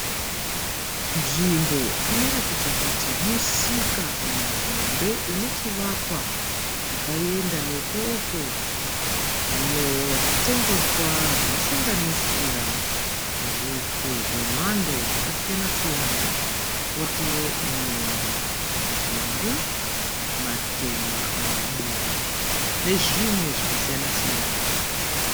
Nvimbo inoratidza kuti musika muhombe une chivakwa chakaenda nekoko. Munewo zvitengeswa zvinosanganisira hupfu hwemhando dzakasiyana siyana, potiwo nyemba, nzungu matemba, madora nezvimwe zvakasiyana-siyana.